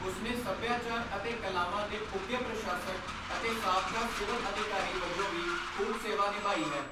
ਉਸਨੇ ਸੱਭਿਆਚਾਰ ਅਤੇ ਕਲਾਵਾਂ ਦੇ ਉਘੇ ਪ੍ਰਸ਼ਾਸਕ, ਅਤੇ ਸਾਬਕਾ ਸਿਵਲ ਅਧਿਕਾਰੀ ਵਜੋਂ ਵੀ ਖੂਬ ਸੇਵਾ ਨਿਭਾਈ ਹੈ।